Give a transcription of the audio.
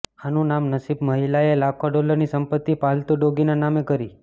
આનું નામ નસીબઃ મહિલાએ લાખો ડોલરની સંપત્તિ પાલતુ ડોગીના નામે કરી